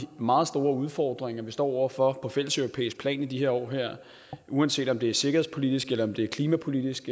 meget store udfordringer vi står over for på fælleseuropæisk plan i de her år uanset om det er sikkerhedspolitisk om det er klimapolitisk